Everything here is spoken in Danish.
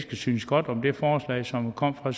synes godt om det forslag som kom fra